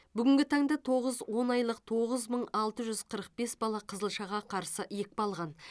бүгінгі таңда тоғыз он айлық айлық тоғыз мың алты жүз қырық бес бала қызылшаға қарсы екпе алған